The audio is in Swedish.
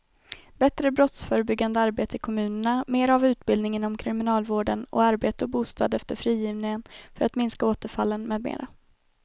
Bättre brottsförebyggande arbete i kommunerna, mera av utbildning inom kriminalvården och arbete och bostad efter frigivningen för att minska återfallen med mera.